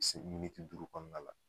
duuru kɔnɔ na la.